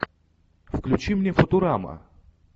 включи мне футурама